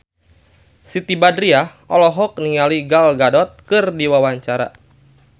Siti Badriah olohok ningali Gal Gadot keur diwawancara